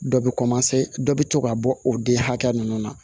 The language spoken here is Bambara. Dɔ bɛ dɔ bi to ka bɔ o den hakɛ ninnu na